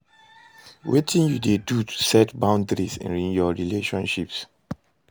Wetin you dey do to set boundaries in your relationships?